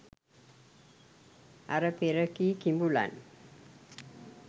අර පෙර කී කිඹුලන්